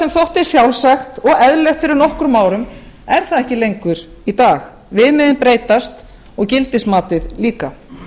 sem þótti sjálfsagt eða eðlilegt fyrir nokkrum árum er það ekki lengur í dag viðmiðin breytast og gildismatið líka